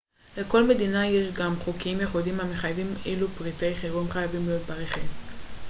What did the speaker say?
לכל מדינה יש גם חוקים ייחודיים המחייבים אילו פריטי חירום חייבים להיות ברכב